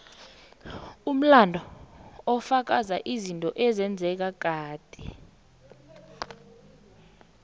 umlando ufaka izinto ezenzeka kade